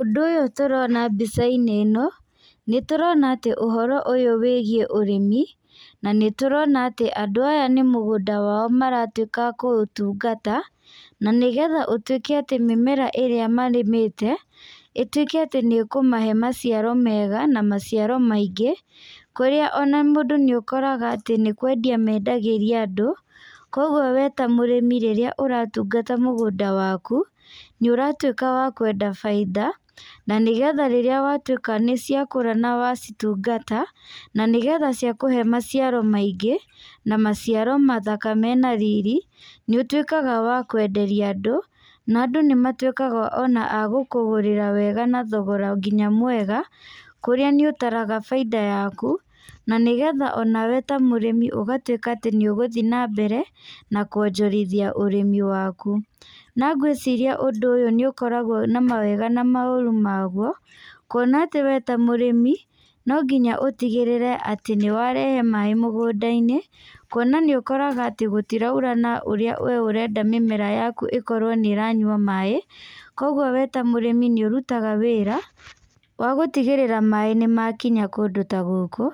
Ũndũ ũyũ tũrona mbica-inĩ ĩno, nĩ tũrona atĩ ũhoro ũyũ wĩgiĩ ũrĩmi, na nĩ tũrona atĩ andũ aya nĩ mũgũnda wao maratuĩka a kũũtungata, na nĩgetha ũtuĩke atĩ mĩmera ĩrĩa marĩmĩte, ĩtuĩke atĩ nĩ ĩkũmahe maciaro mega, na maciaro maingĩ. Kũrĩa ona mũndũ nĩ ũkoraga atĩ nĩ kwendia mendagĩria andũ. Koguo we ta mũrĩmi irio irĩa ũratungata mũgũnda waku, nĩ ũratuĩka wa kwenda bainda, na nĩgetha rĩrĩa watuĩka nĩ ciakũra na wacitungata, na nĩgetha ciakũhe maciaro maingĩ, na maciaro mathaka mena riri, nĩ ũtuĩkaga wa kwenderia andũ. Na andũ nĩ matuĩkaga ona a gũkũgũrĩra wega na thogora nginya mwega, kũrĩa nĩ ũtaraga bainda yaku, na nĩgetha onawe ta mũrĩmi ũgatuĩka atĩ nĩ ũgũthiĩ na mbere, na kuonjorithia ũrĩmi waku. Na ngwĩciria ũndũ ũyũ nĩ ũkoragwo na ma wega na maũru maguo, kuona atĩ we ta mũrĩmi, no nginya ũtigĩrĩre atĩ nĩ warehe maaĩ mũgũnda-inĩ, kuona nĩ ũkoraga atĩ gũtiraura na ũrĩa we ũrenda mĩmera yaku ĩkorwo nĩ ĩranyua maaĩ. Koguo we ta mũrĩmi nĩ ũrutaga wĩra, wa gũtigĩrĩra maaĩ nĩ makinya kũndũ ta gũkũ.